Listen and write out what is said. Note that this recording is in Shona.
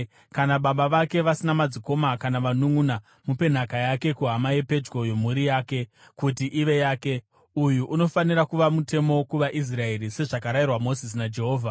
Kana baba vake vasina madzikoma kana vanunʼuna, mupe nhaka yake kuhama yepedyo yomumhuri yake, kuti ive yake. Uyu unofanira kuva mutemo kuvaIsraeri, sezvakarayirwa Mozisi naJehovha.’ ”